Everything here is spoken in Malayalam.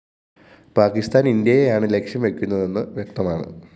പാക്കിസ്ഥാന്‍ ഇന്ത്യയെയാണ് ലക്ഷ്യം വയ്ക്കുന്നതെന്ന് വ്യക്തമാണ്